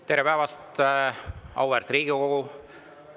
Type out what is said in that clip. Tere päevast, auväärt Riigikogu!